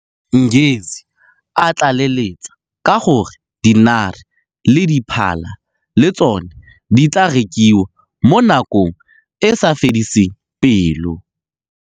Ngesi, a tlaleletsa ka gore dinare le diphala le tsone di tla rekiwa mo nakong e e sa fediseng pelo.